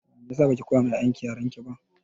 Meyasa baki koya ma 'ya'yan ki yarenki ba?